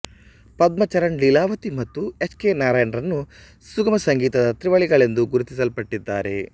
ಪದ್ಮಚರಣ್ ಲೀಲಾವತಿ ಮತ್ತು H K Narayan ರನ್ನು ಸುಗಮ ಸಂಗೀತದ ತ್ರಿವಳಿಗಳೆಂದು ಗುರುತಿಸಲ್ಪಟ್ಟಿದ್ದಾರೆ